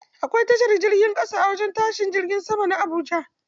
Akwai tashar jirgin ƙasa a wajen tashin jirgin sama na Habuja.